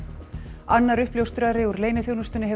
annar uppljóstrari úr leyniþjónustunni hefur